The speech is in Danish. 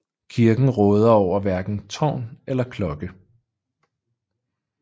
Kirken råder over hverken tårn eller klokke